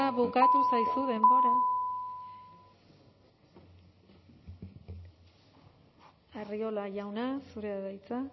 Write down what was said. bukatu zaizu denbora arriola jauna zurea da hitza